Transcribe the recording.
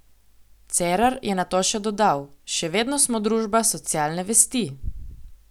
Cerar je nato še dodal: "Še vedno smo družba socialne vesti.